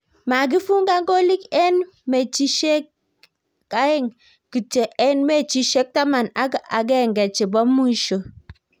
makifungan golik en mechishekaeng kityo en meachishiek taman ak akenge chebo mwisho